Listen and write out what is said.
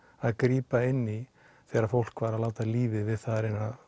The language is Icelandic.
að grípa inn í þegar fólk var að láta lífið við það að reyna